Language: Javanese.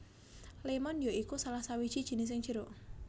Lémon ya iku salah sawiji jinising jeruk